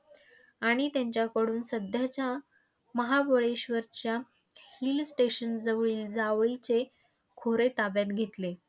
आणि त्यांच्याकडून सध्याच्या महाबळेश्वरच्या hill station जवळील जावळीचे खोरे ताब्यात घेतले.